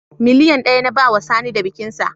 Miliyan ɗaya na bawa Sani da bikinsa